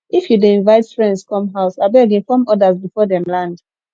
if you dey invite friends come house abeg inform others before dem land